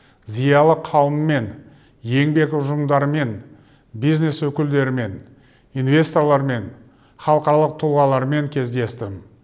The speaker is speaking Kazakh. зиялы қауыммен еңбек ұжымдарымен бизнес өкілдерімен инвесторлармен халықаралық тұлғалармен кездестім